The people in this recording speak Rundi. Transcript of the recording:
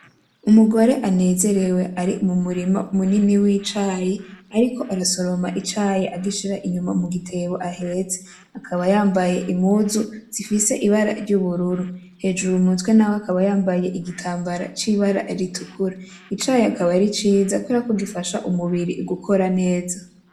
Umugore anezerewe ari mumurima munini w'icayi ariko arasoroma icayi agishira inyuma mugitebo ahetse, akaba yambaye impuzu zifise ibara ry'ubururu, hejuru mumutwe naho akaba yambaye igitambara c'ibara ritukura, icayi akaba ari ciza kubera ko gifasha umubiri gukora neza.